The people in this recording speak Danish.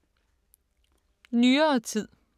Nyere tid